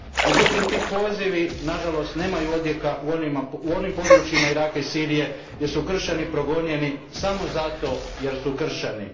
Međutim ti pozivi nažalost nemaju odjeka u onim područjima Iraka i Sirije gdje su kršćani progonjeni samo zato jer su kršćani.